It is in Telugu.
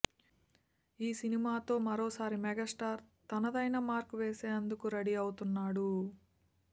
ఈ సినిమాతో మరోసారి మెగాస్టార్ తనదైన మార్క్ వేసేందుకు రెడీ అవుతున్నాడు